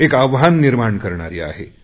एक आव्हान निर्माण करणारी आहे